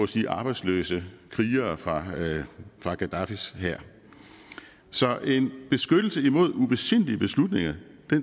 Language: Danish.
sige arbejdsløse krigere fra fra gaddafis hær så en beskyttelse imod ubesindige beslutninger